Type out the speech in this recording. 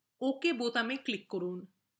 ওকে button click করুন